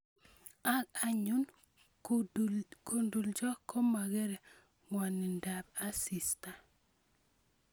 Ang anyun kundulicho komakerei ngwanindap asista